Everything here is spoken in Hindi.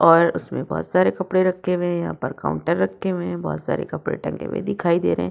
और उसमें बोहोत सारे कपड़े रखे हुए हैं। यहां पर काउंटर रखे हुए हैं। बोहोत सारे कपड़े टंगे हुए दिखाई दे रहे --